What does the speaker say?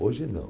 Hoje não.